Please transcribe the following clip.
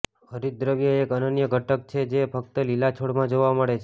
હરિતદ્રવ્ય એક અનન્ય ઘટક છે જે ફક્ત લીલા છોડમાં જોવા મળે છે